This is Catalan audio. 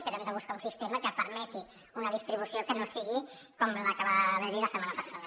però hem de buscar un sistema que permeti una distribució que no sigui com la que va haver hi la setmana passada